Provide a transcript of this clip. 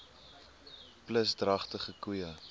plus dragtige koeie